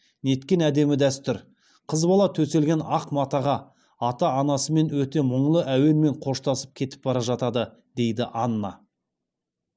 неткен әдемі дәстүр қыз бала төселген ақ матаға ата анасымен өте мұңлы әуенде қоштасып кетіп бара жатады дейді анна